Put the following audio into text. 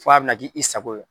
F'a bɛ na k' i sago ye.